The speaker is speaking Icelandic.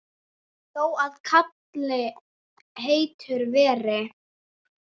Þó að kali heitur hver